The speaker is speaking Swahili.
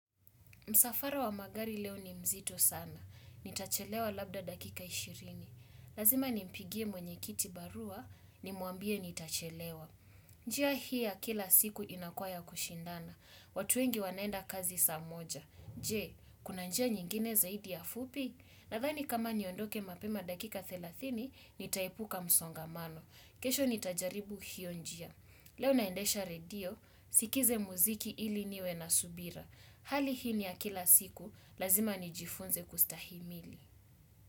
Msafara wa magari leo ni mzito sana. Nitachelewa labda dakika ishirini. Lazima ni mpigie mwenye kiti barua ni mwambie nitachelewa. Njia hii ya kila siku inakuwa ya kushindana. Watu wengi wanaenda kazi saa moja. Je, kuna njia nyingine zaidi ya fupi? Nadhani kama niondoke mapema dakika thelathini, nitaepuka msongamano. Kesho nitajaribu hiyo njia. Leo naendesha radio, sikize muziki ili niwe na subira. Hali hii ni ya kila siku, lazima ni jifunze kustahimili.